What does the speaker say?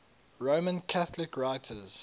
roman catholic writers